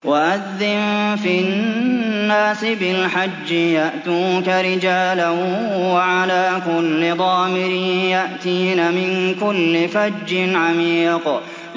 وَأَذِّن فِي النَّاسِ بِالْحَجِّ يَأْتُوكَ رِجَالًا وَعَلَىٰ كُلِّ ضَامِرٍ يَأْتِينَ مِن كُلِّ فَجٍّ عَمِيقٍ